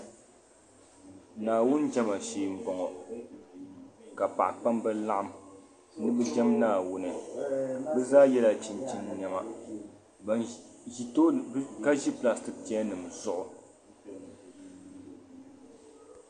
Naawuni jema shee n bɔ ŋɔ ka paɣ'kpamba laɣim ni bɛ jem Naawuni bɛ Zaa yela chinchini nɛma baŋ ʒi tooni ka ʒi gbariti chechenima zuɣu